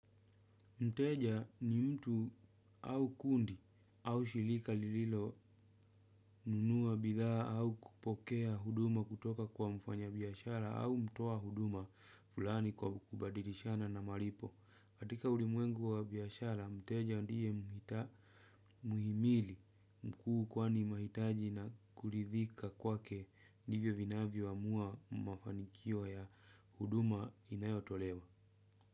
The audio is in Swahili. Mteja ni mtu au kundi au shilika lililo nunua bidhaa au kupokea huduma kutoka kwa mfanya biashara au mtoa huduma fulani kwa kubadilishana na malipo. Katika ulimwengu wa biashara, mteja ndiye muhimili mkuu kwani mahitaji na kuridhika kwake ndivyo vinavyoamua mafanikio ya huduma inayotolewa.